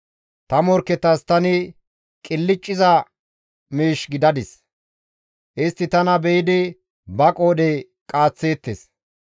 Ta morkketas tani qilcciza miish gidadis; istti tana be7idi ba qoodhe qaaththeettes.